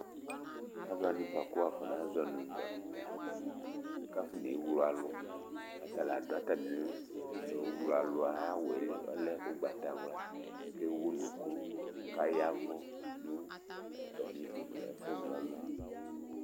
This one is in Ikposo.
Alu wani bʋakʋ wafɔna zɔ ma nʋ dɔkita kʋ afɔne wlo alu Ata la adu atami owlo ayʋ awu yɛ li ɔlɛ ugbatawla kʋ ewu ʋnʋku kʋ ayavʋ nʋ atami edini ye, ɛfʋ na ɔlu yɛ